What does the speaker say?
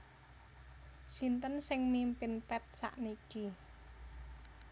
Sinten sing mimpin Path sakniki